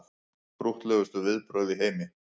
Krúttlegustu viðbrögð í heimi